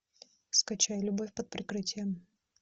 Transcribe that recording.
скачай любовь под прикрытием